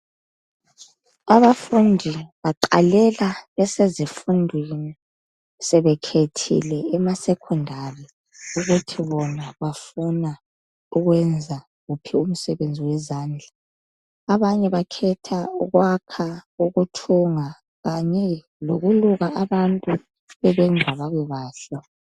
Abafundi baqalela besezifundweni sebekhethile ema"Secondary "ukuthi bona bafuna ukwenza wuphi umsebenzi wezandla abanye bakhetha ukwakha, ukuthunga kanye lokuluka abantu bebenza babe bahle.